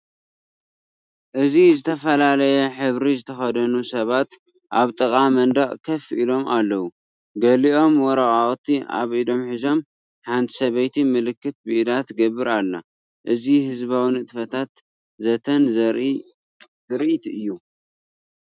እዚ ዝተፈላለየ ሕብሪ ዝተኸድኑ ሰባት ኣብ ጥቓ መንደቕ ኮፍ ኢሎም ኣለው። ገሊኦም ወረቓቕቲ ኣብ ኢዶም ሒዞም፡ ሓንቲ ሰበይቲ ምልክት ብኢዳ ትገብር ኣላ። እዚ ህዝባዊ ንጥፈታትን ዘተን ዘርኢ ትርኢት እዩ።